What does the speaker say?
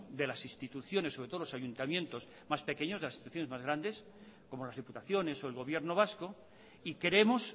de las instituciones sobre todo los ayuntamientos más pequeños de las instituciones más grandes como las diputaciones o el gobierno vasco y queremos